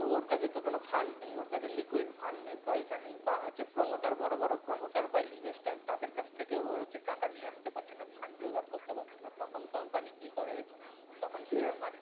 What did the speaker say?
ওর কাছে তো কোনো fund নেই ওর কাছে liquid fund নেই পয়সা নেই বা হচ্ছে promoter বড় বড় promoter বা investor তাদের কাছ থেকেও হচ্ছে টাকা নিয়ে আসতে পারছেনা fund জোগাড় করতে পারছে না তখন company কি করে তখন share market